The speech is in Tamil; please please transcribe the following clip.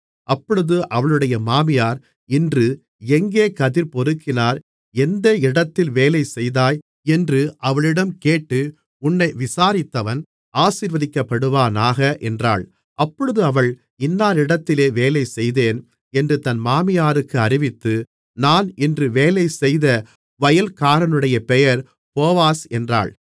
அப்பொழுது அவளுடைய மாமியார் இன்று எங்கே கதிர்பொறுக்கினாய் எந்த இடத்தில் வேலைசெய்தாய் என்று அவளிடம் கேட்டு உன்னை விசாரித்தவன் ஆசீர்வதிக்கப்படுவானாக என்றாள் அப்பொழுது அவள் இன்னாரிடத்திலே வேலைசெய்தேன் என்று தன் மாமியாருக்கு அறிவித்து நான் இன்று வேலைசெய்த வயல்காரனுடைய பெயர் போவாஸ் என்றாள்